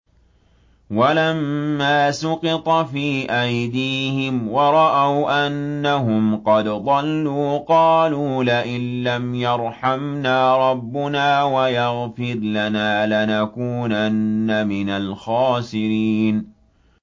وَلَمَّا سُقِطَ فِي أَيْدِيهِمْ وَرَأَوْا أَنَّهُمْ قَدْ ضَلُّوا قَالُوا لَئِن لَّمْ يَرْحَمْنَا رَبُّنَا وَيَغْفِرْ لَنَا لَنَكُونَنَّ مِنَ الْخَاسِرِينَ